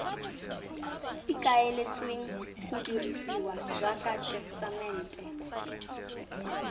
ikaeletsweng go dirisiwa jaaka tesetamente